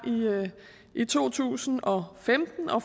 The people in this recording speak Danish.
i to tusind og femten hvor